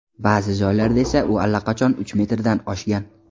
Ba’zi joylarda esa u allaqachon uch metrdan oshgan.